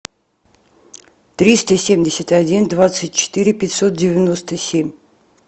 триста семьдесят один двадцать четыре пятьсот девяносто семь